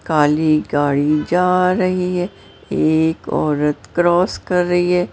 काली गाड़ी जा रही है एक औरत क्रॉस कर रही है।